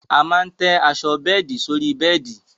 A máa tẹ́ aṣọ bẹ́ẹ̀di sórí bẹ́ẹ̀di